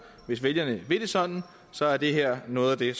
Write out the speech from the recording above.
hvis vælgerne vil det sådan så er det her noget af det